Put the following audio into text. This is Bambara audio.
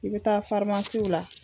I bi taa la.